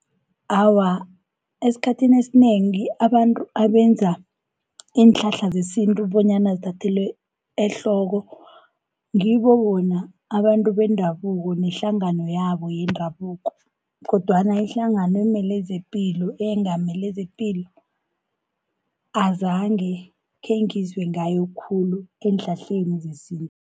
Awa, esikhathini esinengi abantu abenza iinhlahla zesintu bonyana zithathelwe ehloko, ngibo bona abantu bendabuko nehlangano yabo yendabuko, kodwana ihlangano eyengamele zepilo, azange khengizwe ngayo khulu eenhlahleni zesintu.